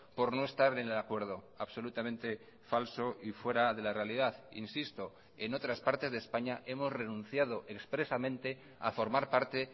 por no estar en el acuerdo absolutamente falso y fuera de la realidad insisto en otras partes de españa hemos renunciado expresamente a formar parte